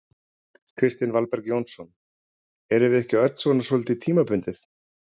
Kristinn Valberg Jónsson: Erum við ekki öll svona svolítið tímabundið?